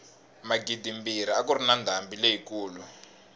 magidimbirhi a kuri na ndhambi leyi kulu